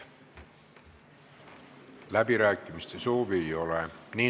Läbirääkimiste soovi ei ole.